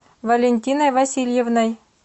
валентиной васильевной